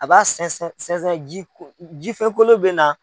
A bɛ sɛnsɛn sɛnsɛ jifɛnkolo bɛ na.